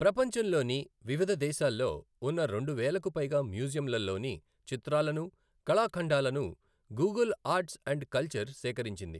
ప్రపంచంలోని వివిధ దేశాల్లో ఉన్న రెండు వేలకు పైగా మ్యూజియంలలోని చిత్రాలను, కళా ఖండాలను గూగుల్ ఆర్ట్స్ అండ్ కల్చర్ సేకరించింది.